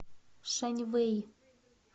шаньвэй